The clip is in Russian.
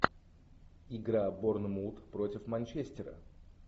игра борнмут против манчестера